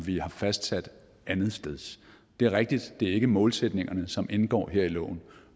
vi har fastsat andetsteds det er rigtigt at det ikke er målsætningerne som indgår her i loven